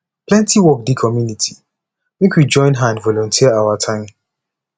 plenty work dey community make we join hand volunteer our time